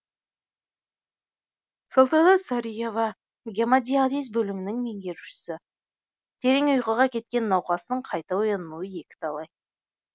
салтанат сариева гемодиализ бөлімінің меңгерушісі терең ұйқыға кеткен науқастың қайта оянуы екіталай